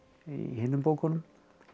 hinum bókunum